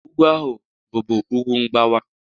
Ugwu ahụ bụbu ugwu mgbawa.